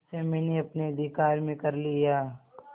उसे मैंने अपने अधिकार में कर लिया